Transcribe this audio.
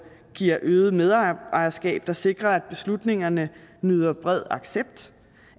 giver øget medejerskab der sikrer at beslutningerne nyder bred accept